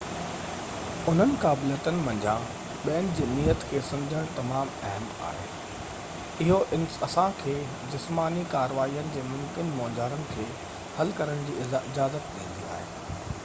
انهن قابليتن منجهان ٻين جي نيت کي سمجهڻ تمام اهم آهي اهو اسان کي جسماني ڪارواين جي ممڪن مونجهارن کي حل ڪرڻ جي اجازت ڏيندي آهي